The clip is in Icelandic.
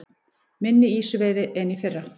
Minni ýsuveiði en í fyrra